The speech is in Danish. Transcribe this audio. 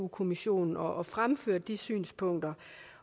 kommissionen og fremført de synspunkter